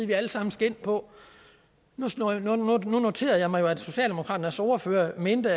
vi alle sammen skal ind på nu noterede jeg mig jo at socialdemokraternes ordfører mente